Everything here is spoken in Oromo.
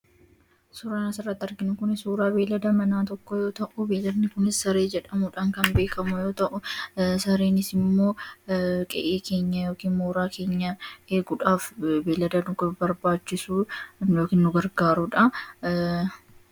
Suuraan asirratti arginu Kun suura beeylada manaa yoo ta'u beeyladni Kunis saree jedhamuudhaan kan beekamu yoo ta'u sareen Kunis immoo qe'ee yookiin mooraa keenya eeguuf beeylada nu barbaachisu yookiin nu gargaarudha.